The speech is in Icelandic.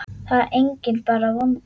Það er enginn bara vondur.